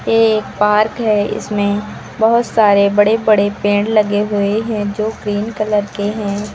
ये एक पार्क है इसमें बहोत सारे बड़े बड़े पेड़ लगे हुए हैं जो ग्रीन कलर के हैं।